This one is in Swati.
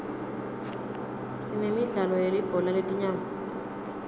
sinemidlalo yelibhola letinyawo